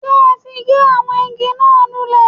Sé o ti gé àwọn igi náà lulè?